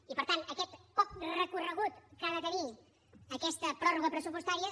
i per tant aquest poc recorregut que ha de tenir aquesta pròrroga pressupostària